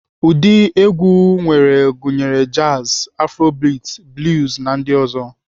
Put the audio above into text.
Ụdị egwu enwere gụnyere jazi, aforobiti, bluz na ndị ọzọ.